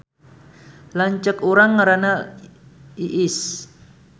Lanceuk urang ngaranna Iis